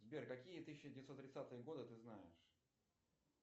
сбер какие тысяча девятьсот тридцатые годы ты знаешь